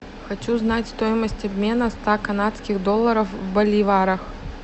хочу знать стоимость обмена ста канадских долларов в боливарах